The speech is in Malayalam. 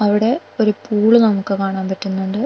അവിടെ ഒരു പൂൾ നമുക്ക് കാണാൻ പറ്റുന്നുണ്ട്.